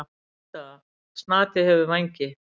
Niðurstaða: Snati hefur vængi.